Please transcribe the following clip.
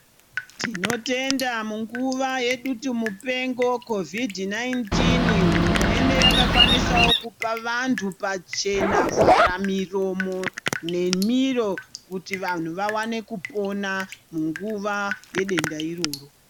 Tinotenda munguva yedutumupengo khovhidhi nainitini hurumende yakakwanisawo kupa vantu pachena vharamiromo nemiro ,kuti vantu vawane kupona, munguva yedenda iroro.